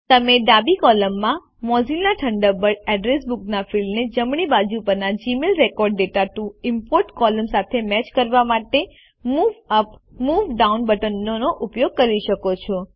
તમે ડાબી કૉલમમાં મોઝિલ્લા થંડરબર્ડ એડ્રેસ બુક ના ફિલ્ડને જમણી બાજુ પરના Gmail record data to import column સાથે મેચ કરવા માટે મૂવ યુપી મૂવ ડાઉન બટનોનો ઉપયોગ કરી શકો છો